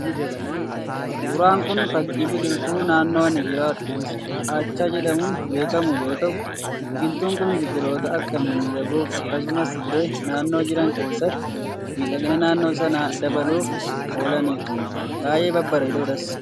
Suuraan kun, fakkii biqiltuu naannoon ani jiraadhutti kaachaa jedhamuun beekamu yoo ta'u, biqiltuun kun biqiloota akkaan mimmiidhagoo fi akkasuma illee naannoo jiran keessatti miidhagina naannoo sanaa dabaluuf oolanidha. baayyee babbareedoodhas.